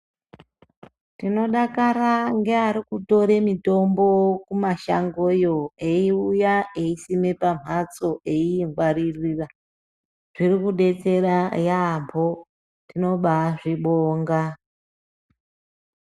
Tinodakara ngeari kutore mitombo kumashangoyo, eyiuya eyisima pamhatso eyiingwaririra. Zviri kudetsera yaambo, tinobazvibonga.